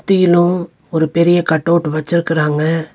தீனு ஒரு பெரிய cut out வெச்சிருக்குறாங்க.